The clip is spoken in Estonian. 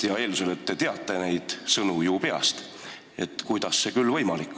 Eeldan, et te teate neid sõnu peast, ja küsingi, kuidas oleks see küll võimalik.